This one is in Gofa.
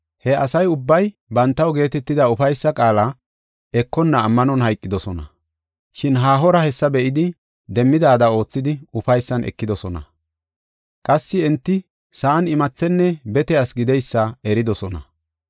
He asa ubbay bantaw geetetida ufaysaa qaala ekonna ammanon hayqidosona. Shin haahora hessa be7idi, demmidaada oothidi, ufaysan ekidosona. Qassi enti sa7an imathenne bete asi gideysa eridosona.